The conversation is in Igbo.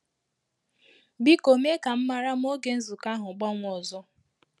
Biko mee ka m mara ma ògè nzukọ ahụ́ gbanwee ọzọ